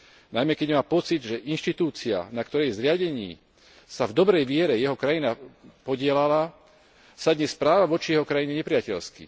Najmä keď má pocit, že inštitúcia, na ktorej zriadení sa v dobrej viere jeho krajina podieľala, sa dnes správa voči jeho krajine nepriateľsky.